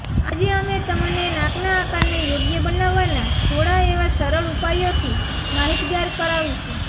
આજે અમે તમેને નાકના આકારને યોગ્ય બનાવવાના થોડા એવા સરળ ઉપાયો થી માહિતગાર કરાવીશું